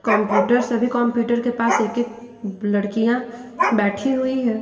Computer सभी computer के पास एक एक लड़कियां बैठी हुई हैं।